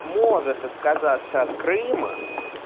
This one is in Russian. может отказаться от крыма